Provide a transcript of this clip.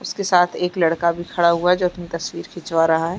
इसके साथ एक लड़का भी खड़ा हुआ है जो अपनी तस्वीर खीचवा रहा है।